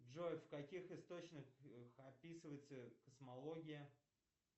джой в каких источниках описывается космология